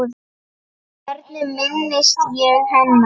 Hvernig minnist ég hennar?